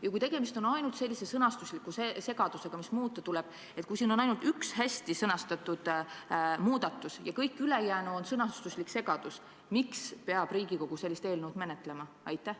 Ja kui tegemist on ainult sõnastusliku segadusega, mida tuleb muuta – juhul kui siin on ainult üks hästi sõnastatud muudatus ja kõik ülejäänu on sõnastuslik segadus –, siis miks peab Riigikogu sellist eelnõu menetlema?